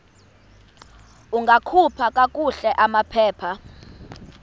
ungakhupha kakuhle amaphepha